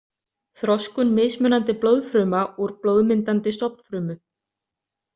Þroskun mismunandi blóðfruma úr blóðmyndandi stofnfrumu.